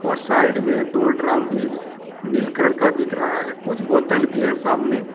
और साइड में दो ड्रम भी नील कलर का दिख रहा है कुछ बोतल भी है सामने।